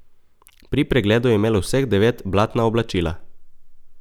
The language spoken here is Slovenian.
Pri pregledu je imelo vseh devet blatna oblačila.